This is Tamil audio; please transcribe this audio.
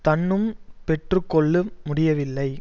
தன்னும் பெற்று கொள்ள முடியவில்லை